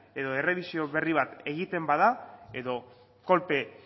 edo errebisio berri bat egiten bada edo kolpe